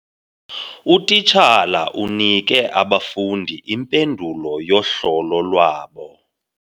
Utitshala unike abafundi impendulo yohlolo lwabo.